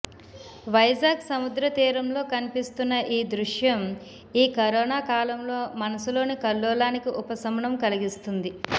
వైజాగ్ సముద్రతీరంలో కనిపిస్తున్న ఈ దృశ్యం ఈ కరోనాకాలంలో మనసులోని కల్లోలానికి ఉపశమనం కలిగిస్తుంది